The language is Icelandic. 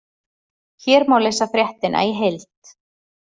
Hér má lesa fréttina í heild